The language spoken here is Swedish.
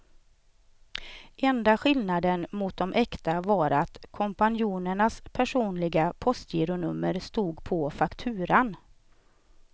Enda skillnaden mot de äkta var att kompanjonernas personliga postgironummer stod på fakturan.